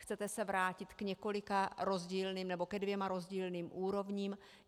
Chcete se vrátit k několika rozdílným, nebo ke dvěma rozdílným úrovním?